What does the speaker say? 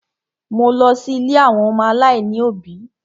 Mo lọ sí ilé àwọn ọmọ aláìní òbí.